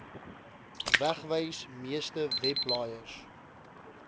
wegwys meeste webblaaiers